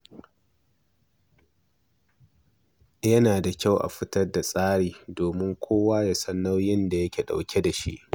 Yana da kyau a fitar da tsari domin kowa ya san nauyin da yake ɗauke da shi.